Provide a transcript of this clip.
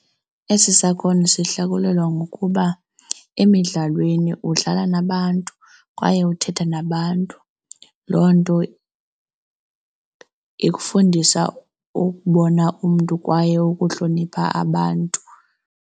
Esi sakhono sihlakulelwa ngokuba emidlalweni udlala nabantu kwaye uthetha nabantu, loo nto ikufundisa ukubona umntu kwaye ukuhlonipha abantu.